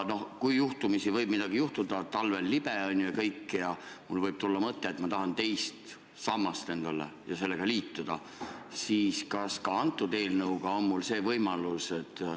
Kui juhtumisi võib midagi juhtuda – noh, talvel on libe – ja mul võib tulla mõte, et ma tahan endalegi teist sammast, ma tahan sellega liituda, siis kas selle eelnõu kohaselt on mul see võimalus?